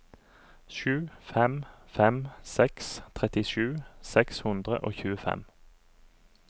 sju fem fem seks trettisju seks hundre og tjuefem